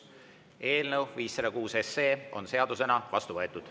Eelnõu 506 on seadusena vastu võetud.